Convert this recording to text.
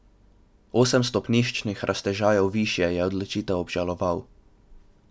Osem stopniščnih raztežajev višje je odločitev obžaloval.